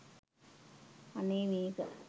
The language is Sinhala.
අනේ මේක